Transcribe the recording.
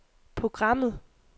programmet